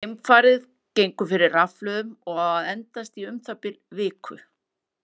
Geimfarið gengur fyrir rafhlöðum og á að endast í um það bil viku.